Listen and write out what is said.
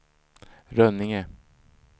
Rönninge